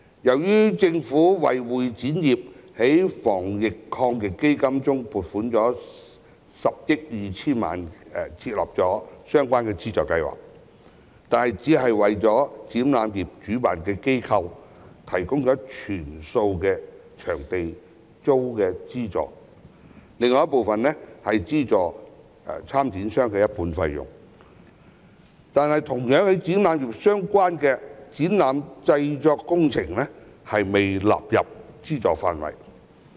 雖然政府在防疫抗疫基金中撥款10億 2,000 萬元，為會展業設立相關資助計劃，但只為展覽業的主辦機構提供全數場租資助，另一部分則資助參展商一半費用，而同樣與展覽業相關的展覽製作工程業卻未被納入資助範圍。